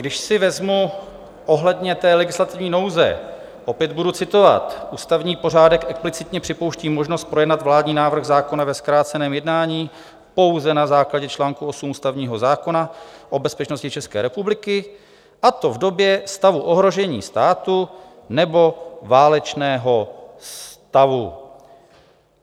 Když si vezmu ohledně té legislativní nouze, opět budu citovat: Ústavní pořádek explicitně připouští možnost projednat vládní návrh zákona ve zkráceném jednání pouze na základě čl. 8 ústavního zákona o bezpečnosti České republiky, a to v době stavu ohrožení státu nebo válečného stavu.